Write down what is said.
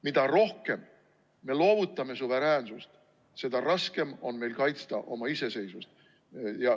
Mida rohkem me loovutame suveräänsust, seda raskem on meil kaitsta oma iseseisvust.